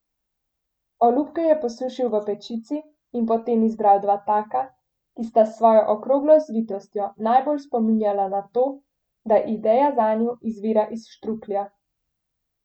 Olupke je posušil v pečici in potem izbral dva taka, ki sta s svojo okroglo zvitostjo najbolj spominjala na to, da ideja zanju izvira iz štruklja.